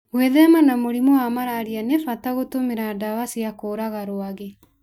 Gwĩthema na mũrimũ wa malaria nĩ bata gũtũmĩra ndawa cia kũũraga rwagĩ.